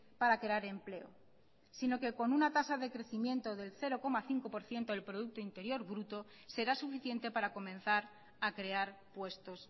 para crear empleo sino que con una tasa de crecimiento del cero coma cinco por ciento del producto interior bruto será suficiente para comenzar a crear puestos